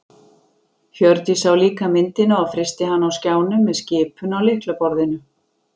Hjördís sá líka myndina og frysti hana á skjánum með skipun á lyklaborðinu.